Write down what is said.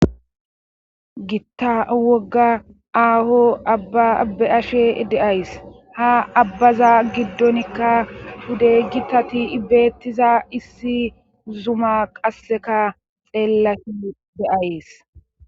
gitta wogga aaho abba abbe ashe de'ayis ha abbaza giddonikka wudey gitatii bettiza issi zuma qasseka xeellashe de'ays